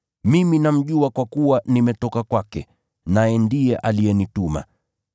Mimi namjua kwa kuwa nimetoka kwake, naye ndiye alinituma.”